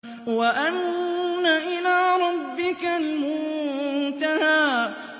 وَأَنَّ إِلَىٰ رَبِّكَ الْمُنتَهَىٰ